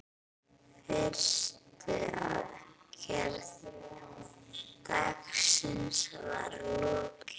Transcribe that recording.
Fyrstu aðgerð dagsins var lokið.